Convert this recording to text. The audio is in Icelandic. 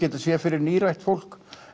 þetta sé fyrir nírætt fólk